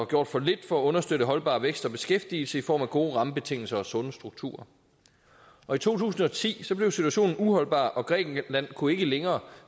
gjort for lidt for at understøtte holdbar vækst og beskæftigelse i form af gode rammebetingelser og sunde strukturer og i to tusind og ti blev situationen uholdbar og grækenland kunne ikke længere